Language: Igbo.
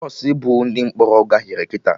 Bọsụ bu ndị mkpọrọ gaghere kịta